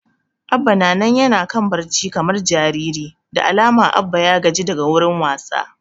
Abba na nan yana kan barci kamar jariri, da alama Abba ya gaji daga wurin wasa